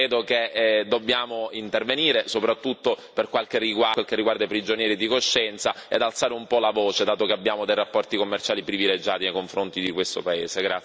Credo che dobbiamo intervenire, soprattutto per quel che riguarda i prigionieri di coscienza, ed alzare un po' la voce, dato che abbiamo dei rapporti commerciali privilegiati nei confronti di questo paese.